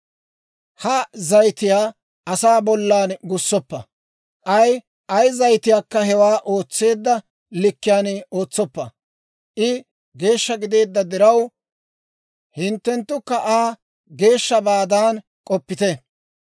ha zayitiyaa asaa bollan gussoppa; k'ay ay zayitiikka hewaa ootseedda likkiyaan ootsoppa. I geeshsha gideedda diraw, hinttenttukka Aa geeshshabaadan k'oppite.